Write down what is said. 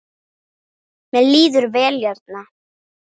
Mér líður vel hérna.